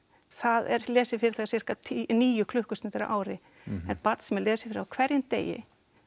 það er lesið fyrir það sirka níu klukkustundir á ári en barn sem er lesið fyrir á hverjum degi